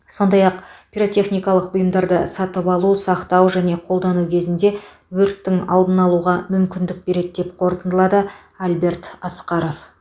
сондай ақ пиротехникалық бұйымдарды сатып алу сақтау және қолдану кезінде өрттің алдын алуға мүмкіндік береді деп қортындылады альберт асқаров